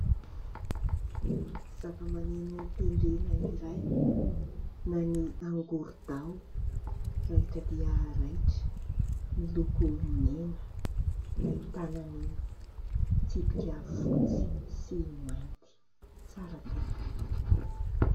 Zavamaneno tendrena iray na ny angorodao raitra dia raitra, miloko mena, ahitana ny tsipika fotsy sy mainty tsara tarehy.